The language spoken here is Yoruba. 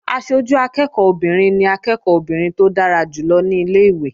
Aṣojú akẹ́ẹ̀kọ́ obìnrin ni akẹ́ẹ̀kọ́ obìnrin tó dára jù lọ ní ilé-ìwé